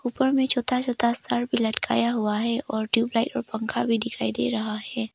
ऊपर में छोटा छोटा सर भी लटकाया हुआ है और ट्यूबलाइट और पंखा भी दिखाई दे रहा है।